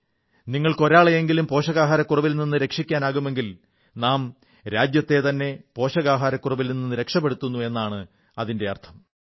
നിങ്ങൾക്ക് ഒരാളെയെങ്കിലും പോഷകാഹാരക്കുറവിൽ നിന്ന് രക്ഷിക്കാനാകുമെങ്കിൽ നാം രാജ്യത്തെത്തന്നെ പോഷകാഹാരക്കുറവിൽ നിന്ന് രക്ഷപ്പെടുത്തുന്നു എന്നാണ് അതിന്റെ അർഥം